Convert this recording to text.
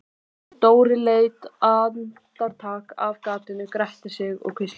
Dóri leit andartak af gatinu, gretti sig og hvíslaði